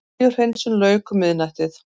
Olíuhreinsun lauk um miðnættið